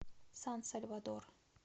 сан сальвадор